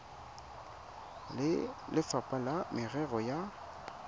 le lefapha la merero ya